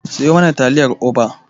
Siyo mana taliyar Oba.